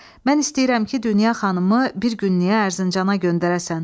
Mən istəyirəm ki, Dünya xanımı bir günlük Ərzincana göndərəsən.